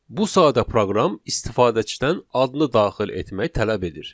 Bu sahədə proqram istifadəçidən adını daxil etmək tələb edir.